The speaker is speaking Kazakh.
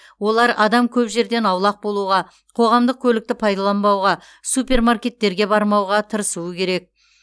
олар адам көп жерден аулақ болуға қоғамдық көлікті пайдаланбауға супермаркеттерге бармауға тырысуы керек